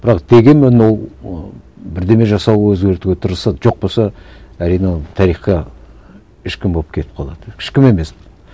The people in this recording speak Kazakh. бірақ дегенмен ол ы бірдеңе жасау өзгертуге тырысады жоқ болса әрине ол тарихқа ешкім болып кетіп қалады ешкім емес